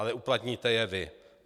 Ale uplatníte je vy.